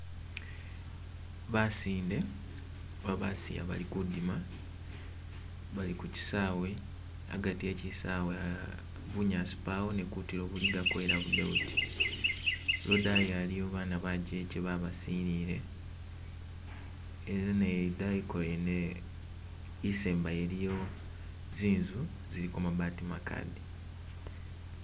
Basinde oba basiya bali kudima bali kukyiisawe hagati he kyisawe bunyasi pawo ne kutilo buligako ela budebuti lodayi haliwo bana bajeke babasilile ela naye idayiko yene isembayo iliyo zinzu ziliko mabati makade